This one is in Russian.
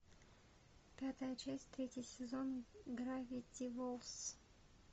пятая часть третий сезон гравити фолз